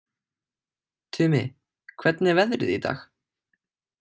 Tumi, hvernig er veðrið í dag?